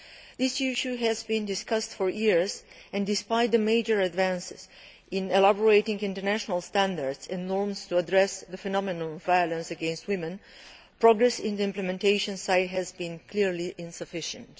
This issue has been discussed for years, and despite major advances in drafting international standards and norms to address the phenomenon of violence against women, progress on the implementation side has been clearly insufficient.